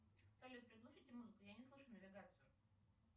салют приглушите музыку я не слышу навигацию